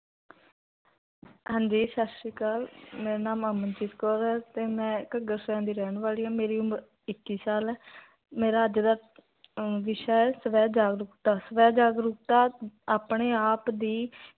ਹਾਂਜੀ ਸਤਸਰੀਆਕਾਲ ਮੇਰਾ ਨਾਮ ਅਮਰਜੀਤ ਕੌਰ ਹੈ ਤੇ ਮੈਂ ਘੱਗਰ ਸ਼ਹਰ ਦੀ ਰਹਿਨ ਵਾਲੀ ਹਾਂ ਮੇਰੀ ਉਮਰ ਇੱਕੀ ਸਾਲ ਹੈ ਮੇਰਾ ਅੱਜ ਦਾ ਅਹ ਵਿਸ਼ਾ ਹੈ, ਸਵਾ ਜਾਗਰੂਕਤਾ ਸਵਾ ਜਾਗਰੂਕਤਾ, ਆਪਣੀ ਆਪ ਦੀ,